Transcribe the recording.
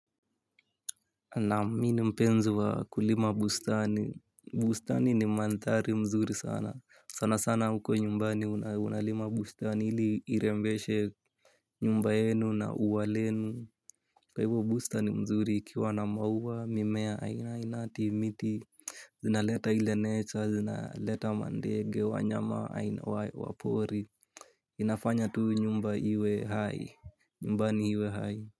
Naam mi ni mpenzi wa kulima bustani bustani ni mandhari mzuri sana sana sana huko nyumbani unalima bustani ili irembeshe nyumba yenu na uwa lenu kwa hivyo bustani ni mzuri ikiwa na maua mimea aina ya miti zinaleta ile nature zinaleta mandege wanyama wa pori. Inafanya tu nyumba iwe hai nyumbani iwe hai.